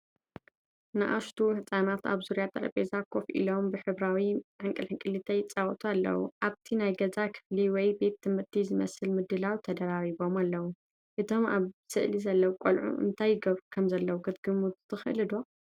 ንኣሽቱ ህጻናት ኣብ ዙርያ ጠረጴዛ ኮፍ ኢሎም ብሕብራዊ ሕንቅልሕንቅሊተይ ይጻወቱ ኣለዉ። ኣብቲ ናይ ገዛ ክፍሊ ወይ ቤት ትምህርቲ ዝመስል ምድላው ተደራሪቦም ኣለዉ። እቶም ኣብ ስእሊ ዘለዉ ቆልዑ እንታይ ይገብሩ ከምዘለዉ ክትግምቱ ትኽእሉ ዶ?